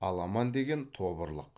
аламан деген тобырлық